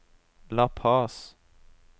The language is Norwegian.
La Paz